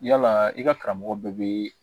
Yala i ka karamɔgɔ bɛɛ bɛ